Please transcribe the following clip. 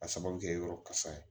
A sababu bɛ kɛ yɔrɔ kasa ye